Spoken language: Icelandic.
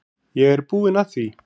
Ég er búinn að því.